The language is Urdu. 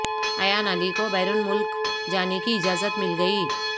ایان علی کو بیرون ملک جانے کی اجازت مل گئی